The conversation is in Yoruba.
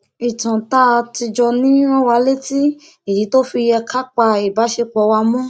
ìtàn tá a ti jọ ní rán wa létí ìdí tó fi yẹ ká pa ìbáṣepọ wa mọ